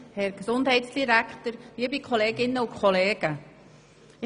Vieles wurde bereits gesagt.